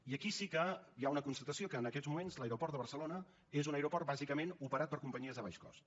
i aquí sí que hi ha una constatació que en aquests moments l’aeroport de barcelona és un aeroport bàsicament operat per companyies de baix cost